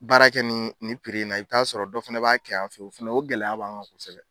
Baara kɛ ni ni piri in na i bɛ t'a sɔrɔ dɔ fana b'a kɛ yan fɛ o fana o gɛlɛya b'an kan kosɛbɛ